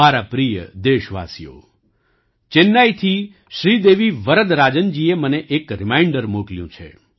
મારા પ્રિય દેશવાસીઓ ચેન્નાઈથી શ્રીદેવી વરદરાજનજીએ મને એક રિમાઇન્ડર મોકલ્યું છે